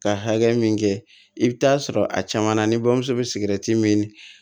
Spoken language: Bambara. Ka hakɛ min kɛ i bi taa sɔrɔ a caman na ni bamuso bɛ sigɛrɛti min